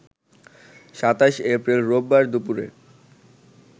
২৭ April রোববার দুপুরে